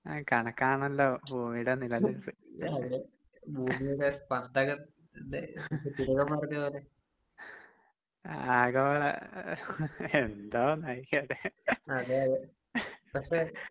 ആഹ് കണക്കാണല്ലോ ഭൂമിയുടെ നിലനിൽപ്പ് ഭൂമിയുടെ സപന്ദനം തന്നെ തിലകൻ പറഞ്ഞപോലെ ആഗോള എന്തോന്ന്